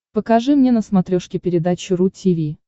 покажи мне на смотрешке передачу ру ти ви